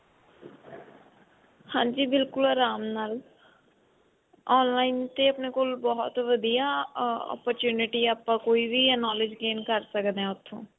ਹਾਂਜੀ ਬਿਲਕੁੱਲ ਆਰਾਮ ਨਾਲ online ਤੇ ਆਪਣੇ ਕੋਲ ਬਹੁਤ ਵਧੀਆਂ opportunity ਹੈ ਆਪਾਂ ਕੋਈ ਵੀ knowledge gain ਕਰ ਸਕਦੇ ਹਾਂ ਉੱਥੋਂ